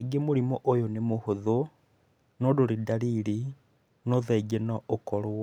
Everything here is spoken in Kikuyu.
Kaingĩ mũrimũ ũyũ nĩ mũhũthũ na ndũrĩ ndariri no thaingĩ no ũkoro.